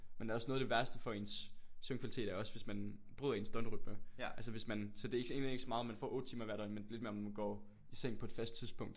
Men også noget af det værste for ens søvnkvalitet er også hvis man bryder ens døgnrytme altså hvis man så det er ikke egentlig ikke så meget om man får 8 timer hver døgn men lidt mere om man går i seng på et fast tidspunkt